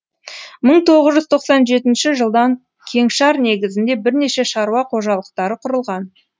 мың тоғыз жүз тоқсан жетінші жылдан кеңшар негізінде бірнеше шаруа қожалықтары құрылған